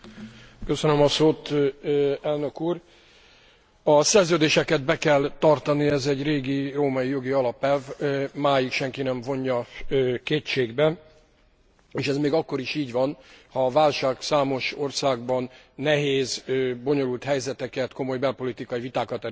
A szerződéseket be kell tartani, ez egy régi római jogi alapelv, máig senki nem vonja kétségbe, és ez még akkor is így van, ha a válság számos országban nehéz, bonyolult helyzeteket, komoly belpolitikai vitákat eredményez.